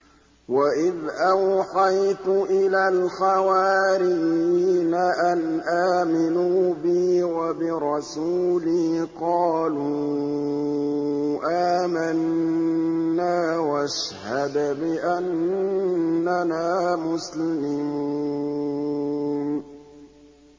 وَإِذْ أَوْحَيْتُ إِلَى الْحَوَارِيِّينَ أَنْ آمِنُوا بِي وَبِرَسُولِي قَالُوا آمَنَّا وَاشْهَدْ بِأَنَّنَا مُسْلِمُونَ